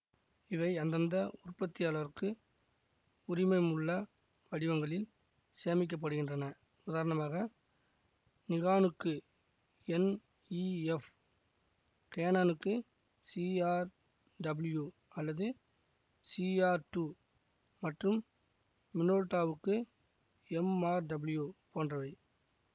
இவை அந்தந்த உற்பத்தியாளருக்கு உரிமம் உள்ள வடிவங்களில் சேமிக்கப்படுகின்றன உதாரணமாக நிகானுக்கு என்ஈஎஃப் கேனானுக்கு சிஆர்டபிள்யூ அல்லது சிஆர் டூ மற்றும் மினோல்டாவுக்கு எம்ஆர்டபிள்யூ போன்றவை